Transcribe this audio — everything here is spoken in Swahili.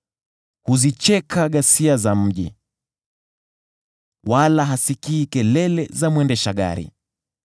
Huzicheka ghasia za mji, wala hasikii kelele za mwendesha gari.